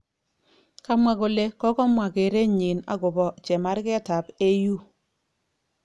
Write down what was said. Kamwa kole kokomwa kerenyin okobo chemarget ab AU.